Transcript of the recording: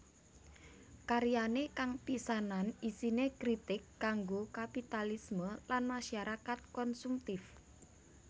Karyane kang pisanan isine kritik kanggo kapitalisme lan masyarakat konsumtif